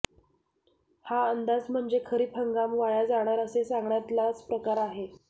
हा अंदाज म्हणजे खरीप हंगाम वाया जाणार असे सांगण्यातलाच प्रकार आहे